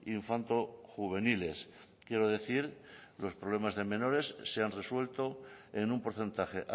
infanto juveniles quiero decir los problemas de menores se han resuelto en un porcentaje